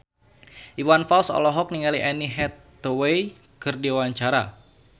Iwan Fals olohok ningali Anne Hathaway keur diwawancara